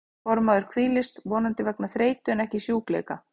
Fornmaður hvílist, vonandi vegna þreytu en ekki sjúkleika.